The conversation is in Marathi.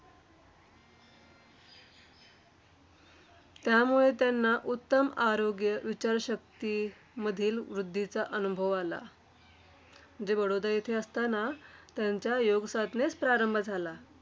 त्यामुळे त्यांना उत्तम आरोग्य, विचारशक्तीमधील वृद्धीचा अनुभव आला. म्हणजे बडोदा येथे असताना, त्यांच्या योगसाधनेस प्रारंभ झाला.